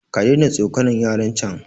kadaina tsokanan yaran can